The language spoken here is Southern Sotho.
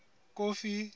kofi